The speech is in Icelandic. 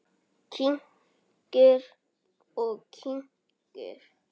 Kyngir og kyngir.